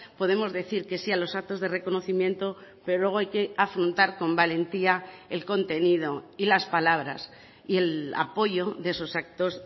podemos decir que sí a los actos de reconocimiento pero luego hay que afrontar con valentía el contenido y las palabras y el apoyo de esos actos